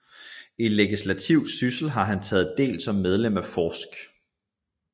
I legislativ Syssel har han taget Del som Medlem af forsk